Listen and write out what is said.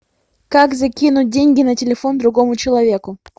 как закинуть деньги на телефон другому человеку